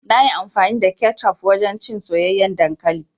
Nayi amfani da kecof wajen cin soyayyen dankali.